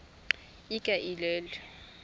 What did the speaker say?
ikaelele